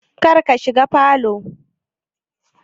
Kar ka shiga falow